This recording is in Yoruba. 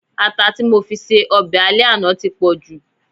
ata ti mofi ṣe obe ale àná ti po ju